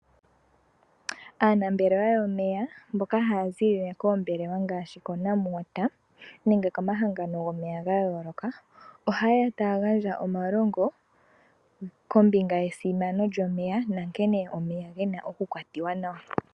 Aanambelewa yomeya mboka haya ziilile koombelelwa ngaashi koNamwater, nenge ko mahangano gomeya ga yooloka. Ohayeya tayagandja omalongo kombinga yesimano lyomeya, na nkene omeya gena oku kwatiwa nawa.